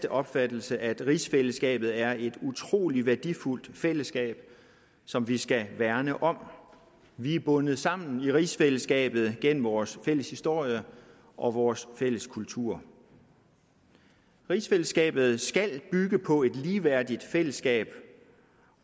opfattelse at rigsfællesskabet er et utrolig værdifuldt fællesskab som vi skal værne om vi er bundet sammen i rigsfællesskabet gennem vores fælles historie og vores fælles kultur rigsfællesskabet skal bygge på et ligeværdigt fællesskab